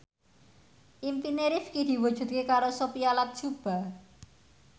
impine Rifqi diwujudke karo Sophia Latjuba